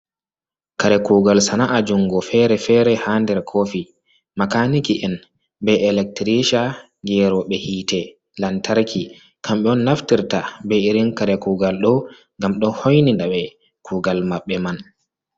Kare kugal sana'a jungo fere-fere ha nder kofi makaniki en be elektirisha geroɓe hitelantarki kamɓe on naftirta be irin kare kugal ɗo ngam ɗo hoinina ɓe kugal maɓɓe man.